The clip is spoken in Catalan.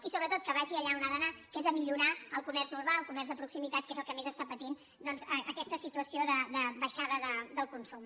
i sobretot que vagi allà on ha d’anar que és a millorar el comerç urbà el comerç de proximitat que és el que més està patint aquesta situació de baixada del consum